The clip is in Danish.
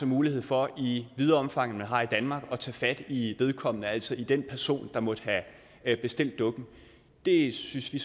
mulighed for i videre omfang end vi har i danmark at tage fat i vedkommende altså i den person der måtte have bestilt dukken det synes vi